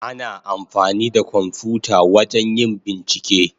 Ana amfani da kwamfuta wajen yin bincike.